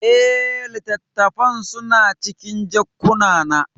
Eh, littattafan suna cikin jakunkuna.